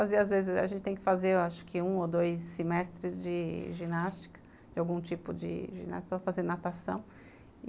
A gente tem que fazer, acho que, um ou dois semestres de ginástica, de algum tipo de ginástica, fazer natação.